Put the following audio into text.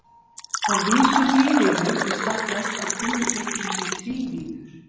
Að vísu þrívíður í stað þess að kúluflöturinn sé tvívíður.